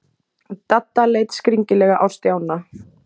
Dadda leit skringilega á Stjána.